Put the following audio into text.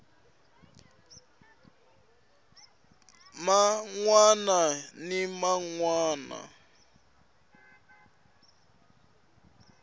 man wana ni man wana